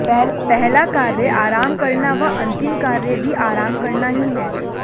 पहला कार्य आराम करना व अंतिम कार्य भी आराम करना ही है